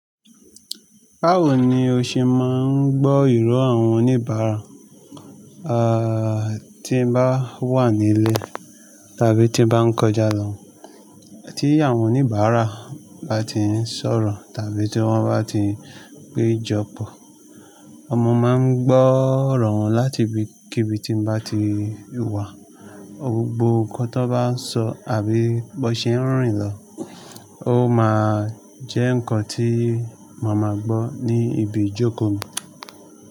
Báwo ni o ṣe máa ń gbọ́ ìró àwọn oníbàárà, à tí ń bá wà nílé tàbí tí ń bá ń kọjá lọ, tí àwọn oníbàárà bá ti ń sọ̀rọ̀ tàbí tí wọ́n bá ti ń pé jọpọ̀. Ọmọ máa ń gbọ́ ọ̀rọ̀ wọn láti ibi kí ibi tí ń bá ti wà. Ohun gbogbo nǹkan tó bá ń sọ àbí bó ṣe ń rìn lọ, ó máa jẹ́ nǹkan tí màá máa gbọ́ ní ibi ìjókò mi.